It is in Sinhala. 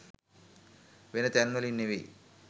වෙන තැන්වලින් නෙවෙයි